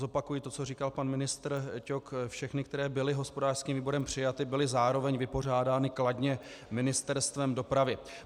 Zopakuji to, co říkal pan ministr Ťok - všechny, které byly hospodářským výborem přijaty, byly zároveň vypořádány kladně Ministerstvem dopravy.